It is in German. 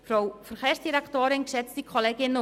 Bitte, Grossrätin Gschwend.